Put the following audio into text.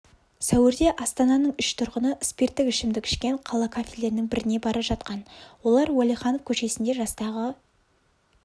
сәуірде астананың үш тұрғыны спирттік ішімдік ішкен қала кафелерінің біріне бара жатқан олар уәлиханов көшесінде жастағы